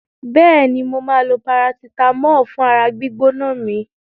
Bẹ́ẹ̀ni, mo máa lo parasitàmọ́ọ̀ fún ara gbígbóná mi.